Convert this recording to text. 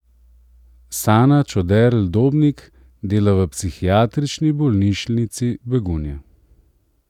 Sana Čoderl Dobnik dela v Psihiatrični bolnišnici Begunje.